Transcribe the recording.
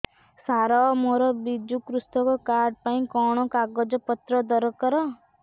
ସାର ମୋର ବିଜୁ କୃଷକ କାର୍ଡ ପାଇଁ କଣ କାଗଜ ପତ୍ର ଦରକାର